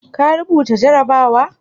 Ka rubuta jarrabawa?